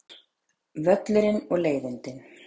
Völlurinn og leiðindin.